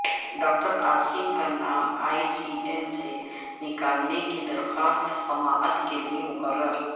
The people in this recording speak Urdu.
ڈاکٹر عاصم کا نام ای سی ایل سے نکالنے کی درخواست سماعت کیلئے مقرر